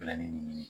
Laɲini